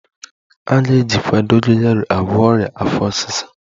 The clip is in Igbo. A ga-ejikwa dogoyaro agwọ ọrịa afọ ọsịsa